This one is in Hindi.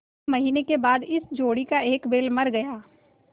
एक महीने के बाद इस जोड़ी का एक बैल मर गया